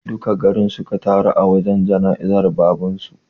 Duka garin suka taru a wajen jana'izar baban su